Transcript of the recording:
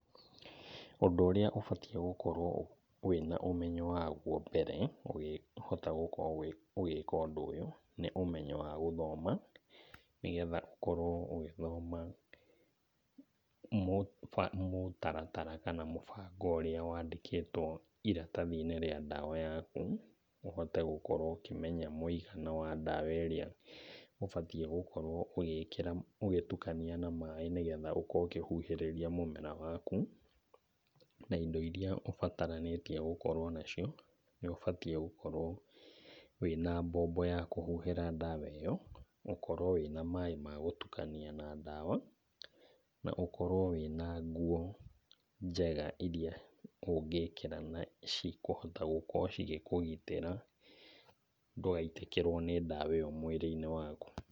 Ũndũ ũrĩa ũbatiĩ gũkorwo wĩna ũmenyo waguo mbere ũkĩhota gũkorwo ũgĩka ũndũ ũyũ, nĩ ũmenyo wa gũthoma, nĩ getha ũkorwo ũgĩthoma mũtaratara kana mũbango ũrĩa wandĩkĩtwo iratathi-inĩ rĩa ndawa yaku, ũhote gũkorwo ũkĩmenya mũigana wa ndawa ĩrĩa ũbatiĩ gũkorwo ũgĩkĩra ũgĩtukania na maĩ nĩgetha ũkorwo ũkĩhuhĩrĩria mũmera waku. Na indo iria ubataranĩtie gũkorwo nacio, nĩ ũbatiĩ gũkorwo wĩna mbombo ya kũhuhĩra ndawa ĩyo, ũkorwo wĩna maĩ magũtukania na ndawa, na ũkorwo wĩna nguo njega iria ũngĩkĩra na cikũhota gũkorwo cigĩkũgitĩra ndũgaitĩkĩrwo nĩ ndawa ĩyo mwĩrĩ-inĩ waku.